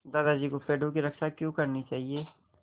दादाजी को पेड़ों की रक्षा क्यों करनी चाहिए